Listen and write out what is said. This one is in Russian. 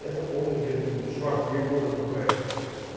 это полный бред блин чувак три года бухаю